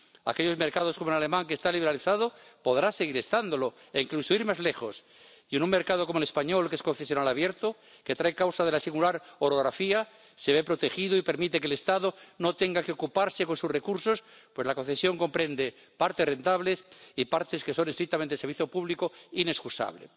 Aquellos mercados como el alemán, que está liberalizado, podrán seguir estándolo e incluso ir más lejos, y un mercado como el español, que es concesional abierto, que trae causa de la singular orografía, se ve protegido y permite que el Estado no tenga que ocuparse con sus recursos, pues la concesión comprende partes rentables y partes que son estrictamente servicio público inexcusable.